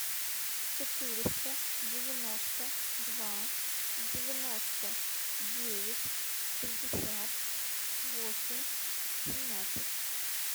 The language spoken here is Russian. четыреста девяносто два девяносто девять шестьдесят восемь семнадцать